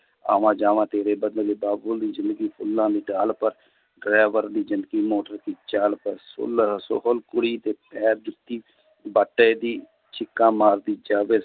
ਆਵਾਂ ਜਾਵਾਂ ਤੇਰੇ ਬਦਲੇ ਬਾਬੁਲ ਦੀ ਜ਼ਿੰਦਗੀ ਫੁੱਲਾਂ ਦੀ ਡਾਲ ਪਰ driver ਦੀ ਜ਼ਿੰਦਗੀ ਮੋਟਰ ਕੀ ਚਾਲ ਪਰ ਸੋਹਲ ਕੁੜੀ ਦੇ ਪੈਰ ਜੁੱਤੀ ਚੀਖਾਂ ਮਾਰਦੀ ਜਾਵੇ।